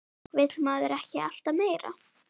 Vill maður ekki alltaf meira?